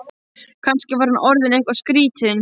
Kannski var hann orðinn eitthvað skrýtinn.